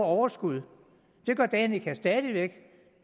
overskud det gør danica stadig væk